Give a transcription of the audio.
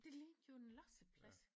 Det lignede jo en losseplads